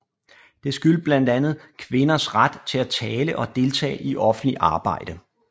Det skyldtes blandt andet kvinders ret til at tale og deltage i offentligt arbejde